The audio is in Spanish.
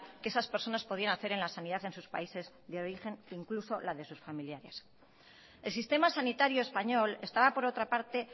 que esas personas podían hacer en las sanidad en sus países de origen incluso en la de sus familiares el sistema sanitario español estaba por otra parte